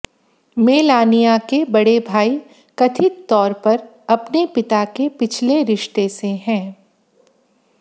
Melania के बड़े भाई कथित तौर पर अपने पिता के पिछले रिश्ते से हैं